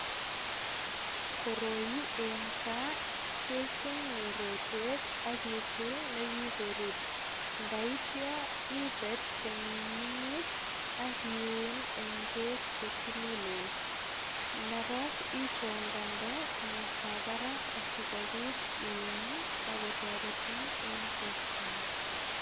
Koroi eng kaa kechenge rotwet ak itil nekikorur. Ndaitya ipet kominingit ak iun eng beek che tililen. Ndarok ichongande komostab barak asopit iam akotoretin eng bortangung.